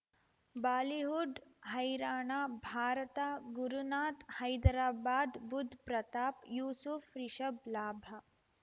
Bollywood ಹೈರಾಣ ಭಾರತ ಗುರುನಾಥ್ ಹೈದರಾಬಾದ್ ಬುಧ್ ಪ್ರತಾಪ್ ಯೂಸುಫ್ ರಿಷಬ್ ಲಾಭ